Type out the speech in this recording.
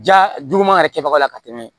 Ja juguman yɛrɛ kɛbaga la ka tɛmɛ